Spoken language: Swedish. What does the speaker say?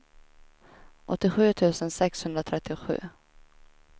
åttiosju tusen sexhundratrettiosju